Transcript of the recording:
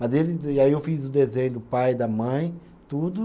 Mas e aí eu fiz o desenho do pai, da mãe, tudo.